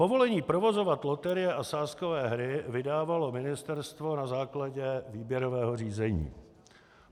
Povolení provozovat loterie a sázkové hry vydávalo ministerstvo na základě výběrového řízení.